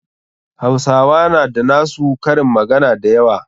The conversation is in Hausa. Hausawa na da na su karin magana da yawa.